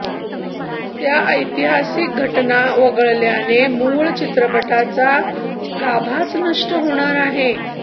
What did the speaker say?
त्या ऐतिहासिक घटना वगळल्याने मूळ चित्रपटाचा गाभाच नष्ट होणार आहे